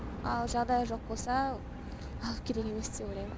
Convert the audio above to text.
ал жағдайы жоқ болса алып керек емес деп ойлаймын